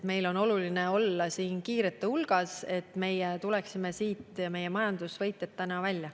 Meil on oluline olla kiirete hulgas, et me tuleksime, et meie majandus tuleks sellest võitjana välja.